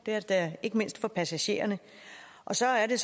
ikke mindst for passagererne så er det